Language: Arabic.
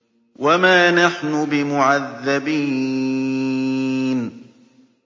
وَمَا نَحْنُ بِمُعَذَّبِينَ